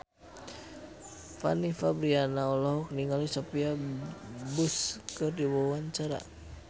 Fanny Fabriana olohok ningali Sophia Bush keur diwawancara